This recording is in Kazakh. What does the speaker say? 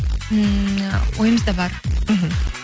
ммм ойымызда бар мхм